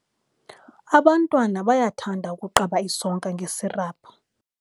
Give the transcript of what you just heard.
Abantwana bayathanda ukuqaba isonka ngesiraphu.